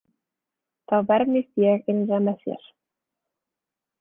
Þá vermist ég innra með mér.